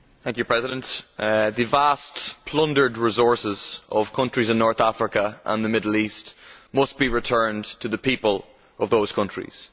Madam President, the vast plundered resources of countries in North Africa and the Middle East must be returned to the people of those countries.